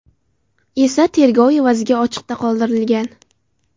esa garov evaziga ochiqda qoldirilgan.